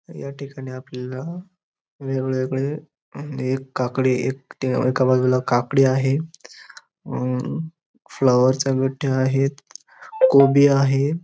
या ठिकाणी आपल्याला वेगवेगळे आणि एक काकडी एका बाजूला काकडी आहे हम फ्लावरवर चा गठ्ठा आहेत कोबी आहे.